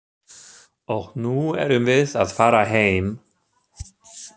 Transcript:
Og nú erum við að fara heim.